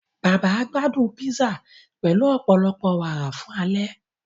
Bàbá gbádún písà pẹlu ọpọlọpọ wàárà fun ale.